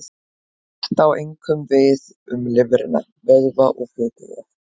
Þetta á einkum við um lifrina, vöðva og fituvef.